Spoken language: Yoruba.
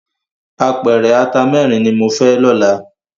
Ápèrè àtá mèrin ni mó fè lòlá